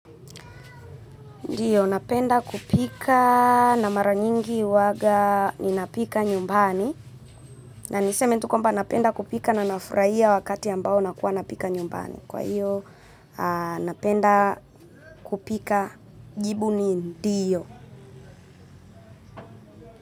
Ndiyo, napenda kupika na mara nyingi huwaga ninapika nyumbani. Na niseme tu kwamba ninapenda kupika na nafurahia wakati ambao nakuwa napika nyumbani. Kwa hiyo, napenda kupika, jibu ni ndiyo.